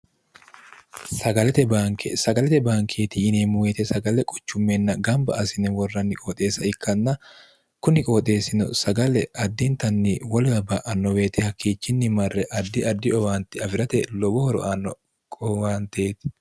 sglte bnkesagalete bankeeti yineemmuuweete sagale quchummenna gamba asine worranni qooxeessa ikkanna kuni qooxeessino sagale addintanni wolwa ba annoweete hakkiichinni marre addi addi owaanti afi'rate lobo horo aanno owaanteeti